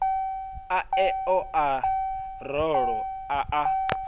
aneo o raloho a a